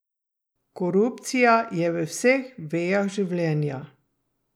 Korupcija je v vseh vejah življenja.